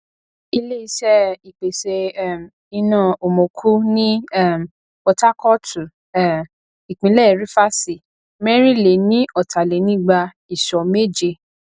iléiṣé ìpèsè um iná omoku ní um potakootu um ìpínlè rifasi mẹrinleniotalenigba iso mẹje